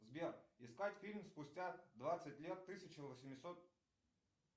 сбер искать фильм спустя двадцать лет тысяча восемьсот